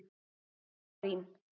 Marín